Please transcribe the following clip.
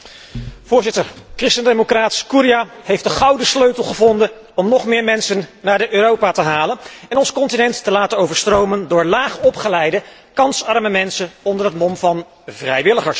Voorzitter, christen democraat Scurria heeft de gouden sleutel gevonden om nog meer mensen naar Europa te halen en ons continent te laten overstromen door laag opgeleide kansarme mensen onder het mom van 'vrijwilligers'.